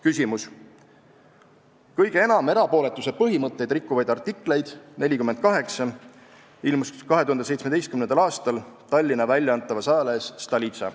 Küsimus: "Kõige enam erapooletuse põhimõtteid rikkuvaid artikleid ilmus 2017. aastal Tallinna poolt välja antavas ajalehes Stolitsa.